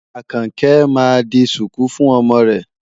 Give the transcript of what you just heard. Àkànkẹ́ máa di ṣùkú fún ọmọ rẹ̀.